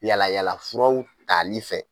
Yalayalafuraw tali fɛ.